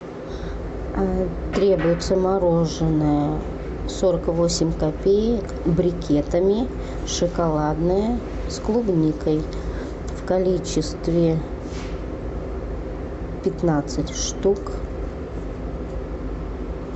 требуется мороженое сорок восемь копеек брикетами шоколадное с клубникой в количестве пятнадцать штук